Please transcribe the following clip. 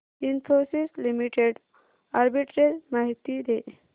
Infosys limited arbitrage माहिती दे